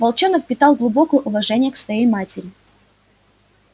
волчонок питал глубокое уважение к своей матери